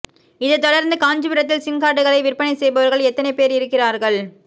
இதைத் தொடா்ந்து காஞ்சிபுரத்தில் சிம் காா்டுகளை விற்பனை செய்பவா்கள் எத்தனை போ் இருக்கிறாா்கள்